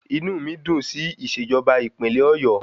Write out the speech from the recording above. Inú mi dùn sí ìṣèjọba ìpínlẹ̀ Ọ̀yọ́